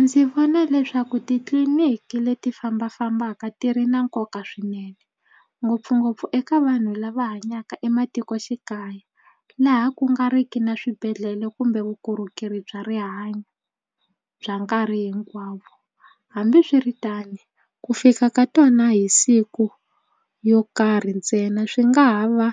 Ndzi vona leswaku titliniki leti fambafambaka ti ri na nkoka swinene ngopfungopfu eka vanhu lava hanyaka ematikoxikaya laha ku nga riki na swibedhlele kumbe vukorhokeri bya rihanyo bya nkarhi hinkwawo hambiswiritano ku fika ka tona hi siku yo karhi ntsena swi nga ha va